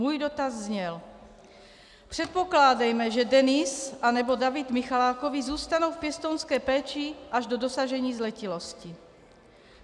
Můj dotaz zněl: Předpokládejme, že Denis nebo David Michalákovi zůstanou v pěstounské péči až do dosažení zletilosti.